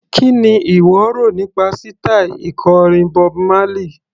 Kí ni ìwọ rò nípa sítaì ikọrin Bob Marley?